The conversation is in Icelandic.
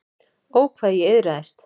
Ó, hvað ég iðraðist.